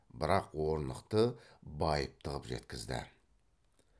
бірақ орнықты байыпты қып жеткізді